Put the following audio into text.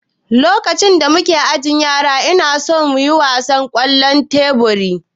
lokacin da muna ajin yara inason yin wasan kwallon tebur